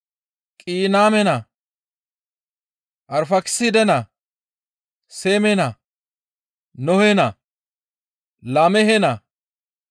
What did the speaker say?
Qayiname naa, Arfaakiside naa, Seeme naa, Nohe naa, Laamehe naa,